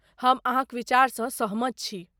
हम अहाँक विचारसँ सहमत छी।